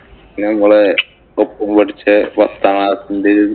പിന്നെ നമ്മളെ ഒപ്പം പഠിച്ച പത്താം class ഇന്‍റെയും